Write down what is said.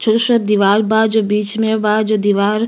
जो शायद दीवाल बा जो बीच में बा जो दीवाल --